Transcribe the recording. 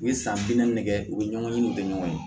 U ye san bi naani nɛgɛ u bɛ ɲɔgɔn ɲini u bɛ ɲɔgɔn ye